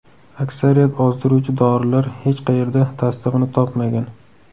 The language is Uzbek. Aksariyat ozdiruvchi dorilar hech qayerda tasdig‘ini topmagan.